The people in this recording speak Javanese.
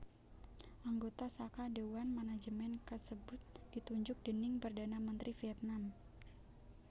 Anggota saka déwan manajemen kasebut ditunjuk déning Perdana Menteri Vietnam